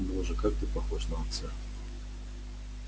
боже как ты похож на отца